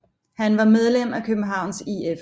Han var medlem af Københavns IF